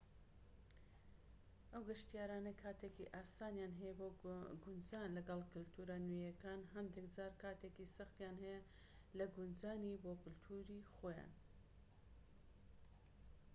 ئەو گەشتیارانەی کاتێکی ئاسانیان هەیە بۆ گونجان لەگەڵ کەلتورە نوێیەکان هەندێك جار کاتێکی سەختیان هەیە لە گونجانی بۆ کەلتوری خۆیان